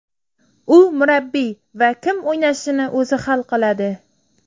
U murabbiy va kim o‘ynashini o‘zi hal qiladi.